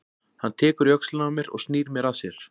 Hann tekur í öxlina á mér og snýr mér að sér.